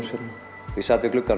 ég sat við gluggann